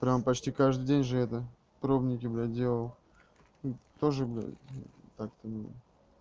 прямо почти каждый день же это пробники блядь делал тоже блядь так-то